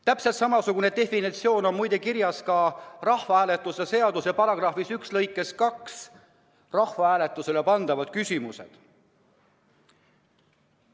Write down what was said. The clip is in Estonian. Täpselt samasugune formuleering on muide kirjas ka rahvahääletuse seaduse § 1 "Rahvahääletusele pandavad küsimused" lõikes 2.